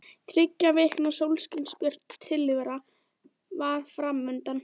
Þriggja vikna sólskinsbjört tilvera var fram undan.